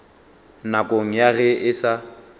nakong ya ge e sa